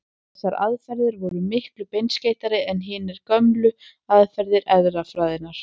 Þessar aðferðir voru miklu beinskeyttari en hinar gömlu aðferðir erfðafræðinnar.